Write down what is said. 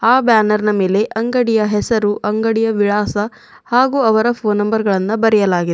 ಆ ಬ್ಯಾನರ್ ನ ಮೇಲೆ ಅಂಗಡಿಯ ಹೆಸರು ಅಂಗಡಿಯ ವಿಳಾಸ ಹಾಗು ಅವರ ಫೋನ್ ನಂಬರ್ ಗಳನ್ನು ಬರೆಯಲಾಗಿದೆ.